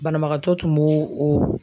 Banabagatɔ tun b'o o